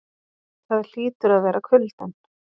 Það hlýtur að vera kuldinn.